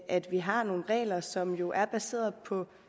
at vi har nogle regler som jo er baseret på